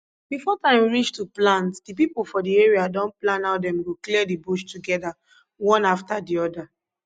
before time reach to plant the people for the area don plan how dem go clear the bush together one after the other